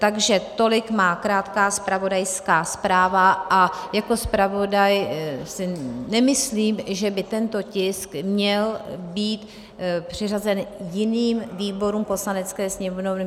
Takže tolik má krátká zpravodajská zpráva a jako zpravodaj si nemyslím, že by tento tisk měl být přiřazen jiným výborům Poslanecké sněmovny.